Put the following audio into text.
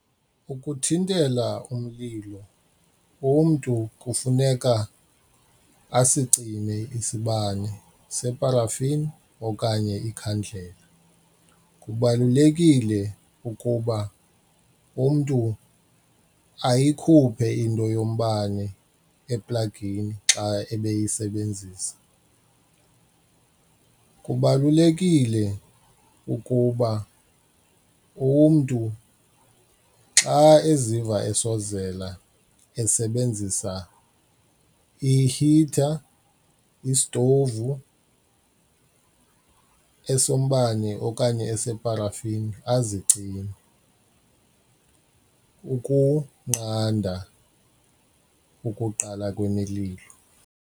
Ukuthintela umlilo umntu kufuneka asicime isibane separafin okanye ikhandlela. Kubalulekile ukuba umntu ayikhuphe into yombane eplagini xa ebeyisebenzisa. Kubalulekile ukuba umntu xa eziva asozela esebenzisa i-heater, isitovu esombane okanye eseparafini azicime ukunqanda ukuqala kwemililo.